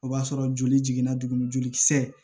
O b'a sɔrɔ joli jiginna tuguni jolikisɛ